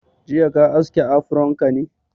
Jiya ka aske afron ka ne?